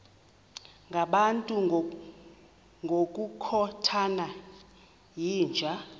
ngabantu ngokukhothana yinja